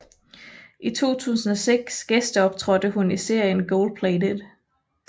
I 2006 gæsteoptrådte hun i serien Goldplated